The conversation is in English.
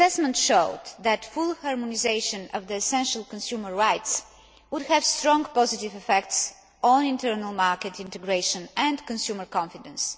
I. The assessment showed that full harmonisation of the essential consumer rights would have strong positive effects on internal market integration and consumer confidence.